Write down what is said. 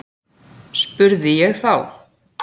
spurði ég þá.